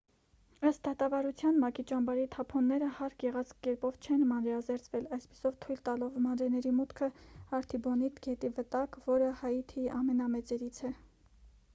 ըստ դատավարության մակ-ի ճամբարի թափոնները հարկ եղած կերպով չեն մանրէազերծվել այդպիսով թույլ տալով մանրէների մուտքը արթիբոնիտ գետի վտակ որը հայիթիի ամենամեծերից է